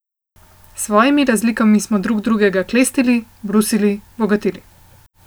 S svojimi razlikami smo drug drugega klestili, brusili, bogatili.